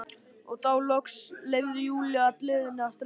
Og þá loks leyfði Júlía gleðinni að streyma.